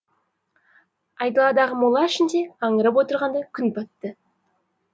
айдаладағы мола ішінде аңырып отырғанда күн батты